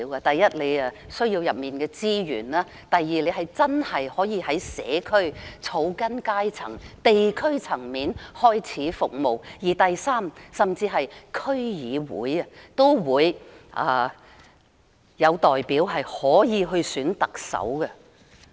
第一，我們需要區議會的資源；第二，區議員可以真正在社區、草根階層和地區層面開始服務市民；第三，區議會甚至可以有代表選特首。